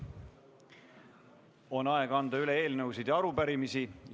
On aeg anda üle eelnõusid ja arupärimisi.